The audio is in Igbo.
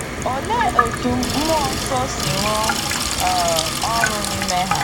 Oléé etú mmụọ nsọ si rụọ um ọrụ n’ime ha?